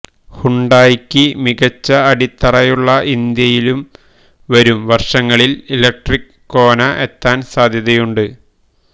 ഹ്യുണ്ടായിക്ക് മികച്ച അടിത്തറയുള്ള ഇന്ത്യയിലും വരും വര്ഷങ്ങളില് ഇലക്ട്രിക് കോന എത്താന് സാധ്യതയുണ്ട്